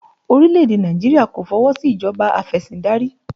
Orílẹ̀ èdè Nàìjíríà kò fi ọwọ sí ìjọba afesindari